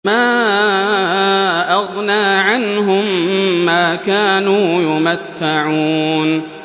مَا أَغْنَىٰ عَنْهُم مَّا كَانُوا يُمَتَّعُونَ